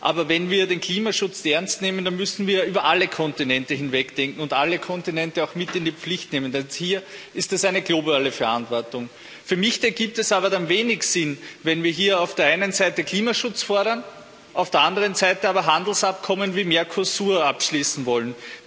Aber wenn wir den Klimaschutz ernst nehmen, dann müssen wir über alle Kontinente hinweg denken und alle Kontinente auch mit in die Pflicht nehmen, denn hier ist es eine globale Verantwortung. Für mich ergibt es dann aber wenig Sinn, wenn wir hier auf der einen Seite Klimaschutz fordern, auf der anderen Seite aber Handelsabkommen wie Mercosur abschließen wollen.